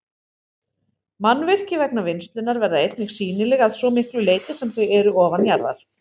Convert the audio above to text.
Mannvirki vegna vinnslunnar verða einnig sýnileg að svo miklu leyti sem þau eru ofanjarðar.